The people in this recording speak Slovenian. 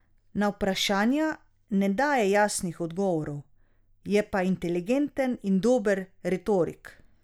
Na vprašanja ne daje jasnih odgovorov, je pa inteligenten in dober retorik.